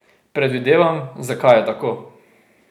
Predvidevam, zakaj je tako ...